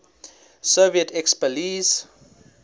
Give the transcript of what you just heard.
soviet expellees